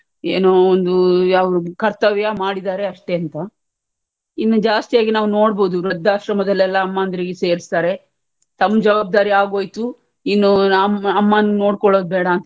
ಏನೂ ಒಂದು ಯಾವುದು ಕರ್ತವ್ಯ ಮಾಡಿದ್ದಾರೆ ಅಷ್ಟೇ ಅಂತ ಇನ್ನು ಜಾಸ್ತಿಯಾಗಿ ನಾವು ನೋಡಬಹುದುದ್ ವೃದ್ಧಾಶ್ರಮದಲ್ಲೆಲ್ಲಾ ಅಮ್ಮಂದ್ರಿಗೆ ಸೇರಿಸ್ತಾರೆ ತಮ್ ಜವಾಬ್ದಾರಿ ಆಗೋಯ್ತು ಇನ್ನು ಅಮ್~ ಅಮ್ಮನ್ ನೋಡ್ಕೊಳ್ಳುದು ಬೇಡ ಅಂತ,